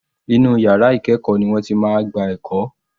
Inú yàrá ìkẹ́ẹ̀kọ́ ni wọ́n ti máa gba ẹ̀kọ́.